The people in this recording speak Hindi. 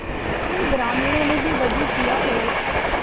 इन ग्रामीणों ने भी वजू किया और